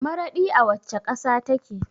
Maraɗi a wacce ƙasa take?